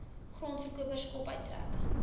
grondverkopers kop uittrek